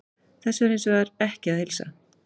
Þessu er hins vegar ekki að heilsa.